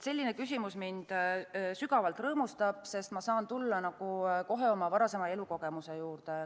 Selline küsimus mind sügavalt rõõmustab, sest ma saan tulla oma varasema elukogemuse juurde.